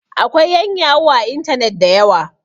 akwai yanyahu a intanet da yawa